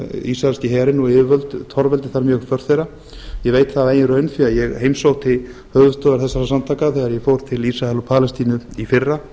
ísraelski herinn og yfirvöld torveldi þar mjög störf þeirra ég veit það af eigin raun því ég heimsótti höfuðstöðvar þeirra samtaka þegar ég fór til ísrael og palestínu í fyrra